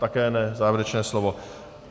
Také ne závěrečné slovo.